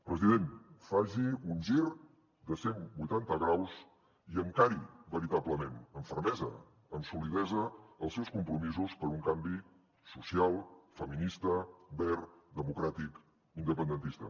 president faci un gir de cent vuitanta graus i encari veritablement amb fermesa amb solidesa els seus compromisos per un canvi social feminista verd democràtic independentista